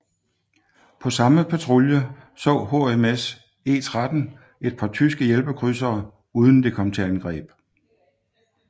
På samme patrulje så HMS E13 et par tyske hjælpekrydsere uden det kom til angreb